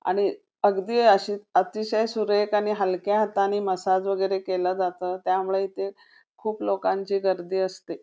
आणि अतिशय सुरेख आणि हलक्या हाताने मसाज वगैरे केला जातो त्यामुळे इथे लोकांची गर्दी असते.